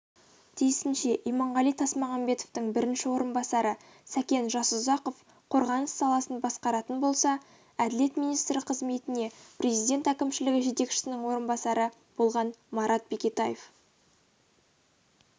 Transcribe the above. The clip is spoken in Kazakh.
тиісінше иманғали тасмағамбетовтың бірінші орынбасары сәкен жасұзақов қорғаныс саласын басқаратын болса әділет министрі қызметіне президент әкімшілігі жетекшісінің орынбасары болған марат бекетаев